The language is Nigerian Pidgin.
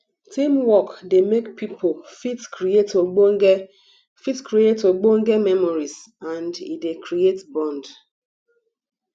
teamwork dey make pipo fit create ogbonge fit create ogbonge memories and e dey create bond